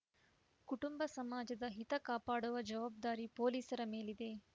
ಕುಟುಂಬ ಸಮಾಜದ ಹಿತ ಕಾಪಾಡುವ ಜವಾಬ್ದಾರಿ ಪೊಲೀಸರ ಮೇಲಿದೆ